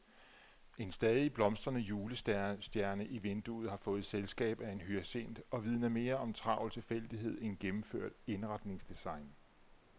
En stadig blomstrende julestjerne i vinduet har fået selskab af en hyacint og vidner mere om travl tilfældighed end gennemført indretningsdesign.